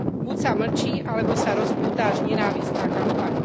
Buď sa mlčí, alebo sa rozpúta až nenávistná kampaň.